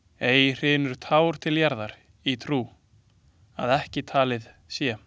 Ei hrynur tár til jarðar í trú, að ekki talið sé.